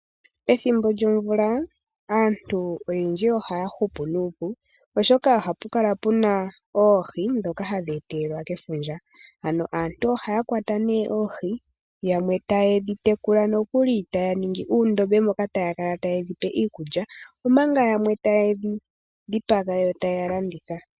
Ethimbo lyomvula aantu oyendji ohaya hupu nuupu oshoka ohapu kala puna oohi ndhoka hadhi etelwa iikulya , ano aantu ohaya kwata nee oohi yamwe taye dhi tekula, yamwe nokuli taya ningi nuundombe moka taya kala taya tula iikulya. Omanga yamwe taye dhi dhipaga yoo taya landitha .